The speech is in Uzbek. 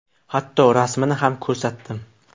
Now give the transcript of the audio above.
Hatto rasmini ham ko‘rsatdim.